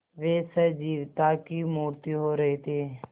वे सजीवता की मूर्ति हो रहे थे